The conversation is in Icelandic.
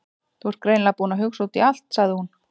Þú ert greinilega búinn að hugsa út í allt- sagði hún.